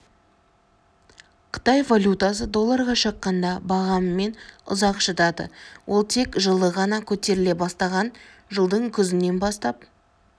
қытай валютасы долларға шаққанда бағамымен ұзақ шыдады ол тек жылы ғана көтеріле бастаған жылдың күзінен бастап